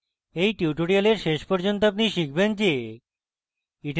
at tutorial শেষ পর্যন্ত আপনি শিখবেন: